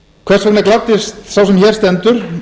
hvers vegna gladdist sá sem hér stendur